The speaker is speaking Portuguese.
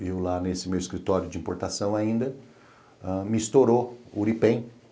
viu lá nesse meu escritório de importação ainda, me estourou o Uripen.